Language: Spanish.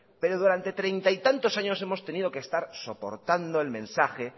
pero durante treinta y tantos años hemos tenido que estar soportando el mensaje